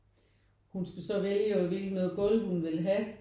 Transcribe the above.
Hun skal så vælge over hvilket noget gulv hun vil have